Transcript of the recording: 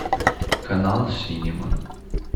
канал синема